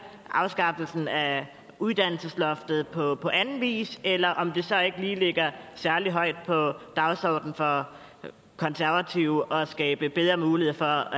afskaffelsen af uddannelsesloftet på anden vis eller om det så ikke lige ligger særlig højt på dagsordenen for konservative at skabe bedre muligheder